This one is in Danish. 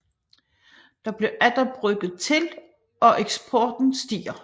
Der bliver atter brygget til og eksporten stiger